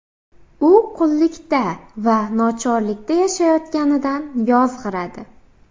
U qullikda va nochorlikda yashayotganidan yozg‘iradi.